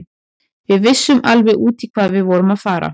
Við vissum alveg út í hvað við vorum að fara.